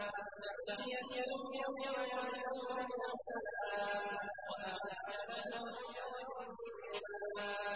تَحِيَّتُهُمْ يَوْمَ يَلْقَوْنَهُ سَلَامٌ ۚ وَأَعَدَّ لَهُمْ أَجْرًا كَرِيمًا